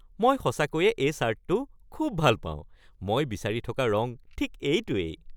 মই সঁচাকৈয়ে এই চাৰ্টটো খুব ভাল পাওঁ। মই বিচাৰি থকা ৰঙ ঠিক এইটোৱেই।